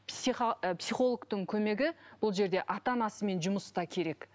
ы психологтың көмегі бұл жерде ата анасымен жұмыста керек